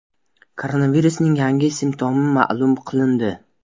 Koronavirusning yangi simptomi ma’lum qilindi.